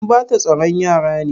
An bata tsaron yaran ne?